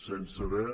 sense haver